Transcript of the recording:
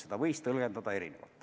Seni sai seda tõlgendada erinevalt.